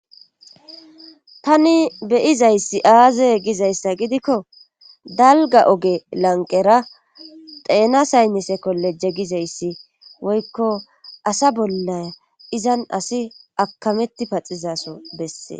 tani beyizayssi aazey gizayssa gidikko dalga oge lanqera xeena saynnise kolle jegizayssi woykko asa bolla izan asi akametti paxizaso bessee